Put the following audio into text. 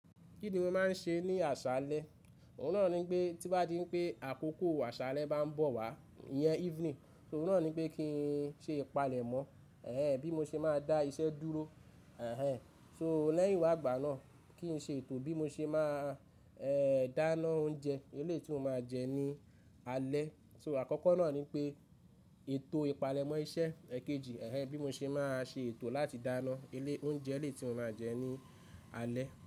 Kí ni mo máa ń ṣe ní àṣálẹ́? Òun náà ní pé tí bá di pé àkókò àṣálẹ́ bá ń bọ̀ wá, ìyẹn evening, so òun náà ní pé kí n ṣe ìpalẹ̀mọ́. Ẹ̀hẹ̀n, bí mo ṣe máa dá iṣẹ́ dúró. Ẹ̀hẹ̀n, so lẹ́yìn wágbà náà kí n ṣe ètò bí mo ṣe máa, ẹ́, dáná oúnjẹ, ilé tí mo máa jẹ ní alẹ́. So àkọ́kọ́ náà ní pé ètò ìpalẹ̀mọ́ iṣẹ́, èkejì, ẹ́hẹ̀n, bí mo ṣe máa ṣe ètò láti dáná ilé, oúnjẹ ilé tí mo máa jẹ ní alẹ́.